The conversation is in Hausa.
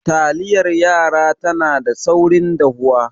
Taliyar yara tana da saurin dahuwa